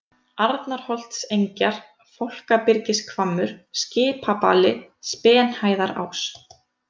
Arnarholtsengjar, Fálkabyrgishvammur, Skipabali, Spenhæðarás